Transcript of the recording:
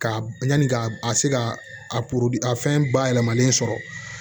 Ka yanni ka a se ka a a fɛn bayɛlɛmalen sɔrɔ